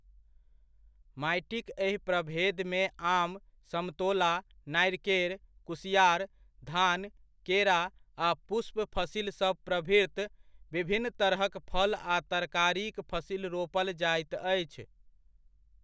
माटिक एहि प्रभेदमे आम, समतोला, नारिकेर, कुसिआर, धान, केरा आ पुष्प फसिलसभ प्रभृत विभिन्न तरहक फल आ तरकारीक फसिल रोपल जाइत अछि।